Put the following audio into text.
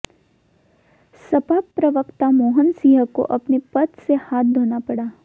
सपा प्रवक्ता मोहन सिंह को अपने पद से हाथ धोना पड़ा